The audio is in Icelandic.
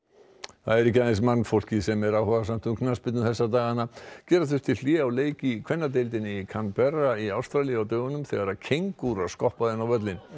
það er ekki aðeins mannfólkið sem er áhugasamt um knattspyrnu þessa dagana gera þurfti hlé á leik í kvennadeildinni í Canberra í Ástralíu á dögunum þegar kengúra skoppaði inn á völlinn